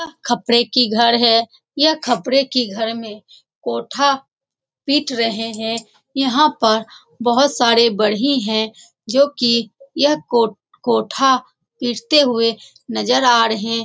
खपड़े की घर है यह खपड़े की घर में कोठा पिट रहे हैं यहाँ पर बहुत सारे बढ़ई हैं जो की यह को कोठा पिटते हुए नजर आ रहे --